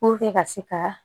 ka se ka